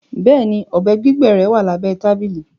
Bẹẹni, ọbẹ gbigbẹ rẹ wà lábẹ̀ tabili